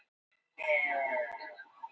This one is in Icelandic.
Hvað heitir rokkhátíð alþýðunnar á Ísafirði?